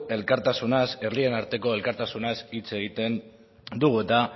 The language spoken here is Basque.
elkartasunaz herrien arteko elkartasunaz hitz egiten dugu eta